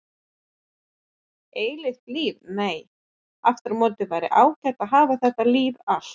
Eilíft líf nei, aftur á móti væri ágætt að hafa þetta líf allt.